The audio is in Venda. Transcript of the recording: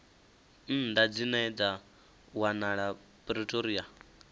nnḓa dzine dza wanala pretoria